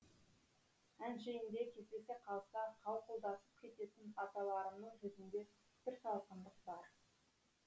әншейінде кездесе қалса қауқылдасып кететін аталарымның жүзінде бір салқындық бар